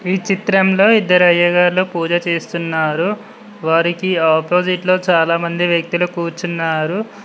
ఈ చిత్రంలో ఇద్దరు అయ్యగారు పూజ చేస్తున్నారు వారికి ఆపోజిట్ లో చాలామంది వ్యక్తులు కూర్చున్నారు.